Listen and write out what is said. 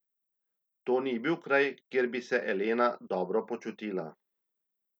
To ni bil kraj, kjer bi se Elena dobro počutila.